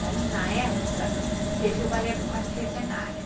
Daí, na época, teve o balé do quarto centenário.